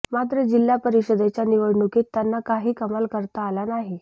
मात्र जिल्हा परिषदेच्या निवडणुकीत त्यांना काही कमाल करता आली नाही